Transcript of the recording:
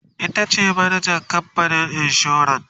itace manajan kamfanin insuran